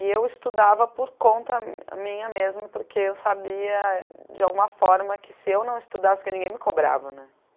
E eu estudava por conta minha mesmo, porque eu sabia de alguma forma que se eu não estudasse, porque ninguém me cobrava, né?